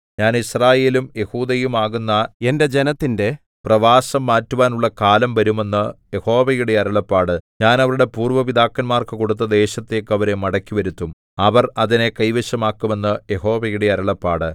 ഞാൻ യിസ്രായേലും യെഹൂദയുമാകുന്ന എന്റെ ജനത്തിന്റെ പ്രവാസം മാറ്റുവാനുള്ള കാലം വരും എന്ന് യഹോവയുടെ അരുളപ്പാട് ഞാൻ അവരുടെ പൂര്‍വ്വ പിതാക്കന്മാർക്കു കൊടുത്ത ദേശത്തേക്ക് അവരെ മടക്കിവരുത്തും അവർ അതിനെ കൈവശമാക്കും എന്ന് യഹോവയുടെ അരുളപ്പാട്